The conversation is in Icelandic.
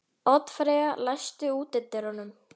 Oddfreyja, læstu útidyrunum.